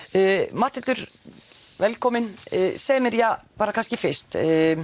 Matthildur velkomin segðu mér kannski fyrst